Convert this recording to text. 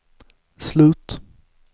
slut